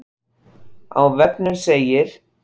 Á vefnum segir